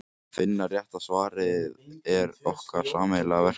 Að finna rétta svarið er okkar sameiginlega verkefni.